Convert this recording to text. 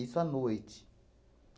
à noite.